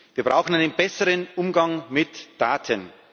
Wir brauchen einen besseren Umgang mit Daten.